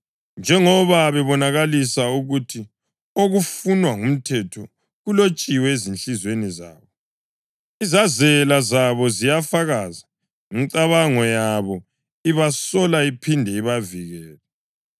njengoba bebonakalisa ukuthi okufunwa ngumthetho kulotshiwe ezinhliziyweni zabo, izazela zabo ziyafakaza, imicabango yabo ibasola iphinde ibavikele.)